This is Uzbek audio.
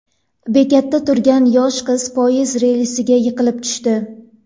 Bekatda turgan yosh qiz poyezd relsiga yiqilib tushdi.